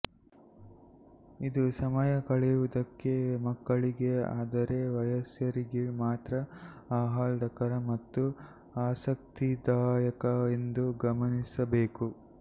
ಇದು ಸಮಯ ಕಳೆಯುವುದಕ್ಕೆ ಮಕ್ಕಳಿಗೆ ಆದರೆ ವಯಸ್ಕರಿಗೆ ಮಾತ್ರ ಆಹ್ಲಾದಕರ ಮತ್ತು ಆಸಕ್ತಿದಾಯಕ ಎಂದು ಗಮನಿಸಬೇಕು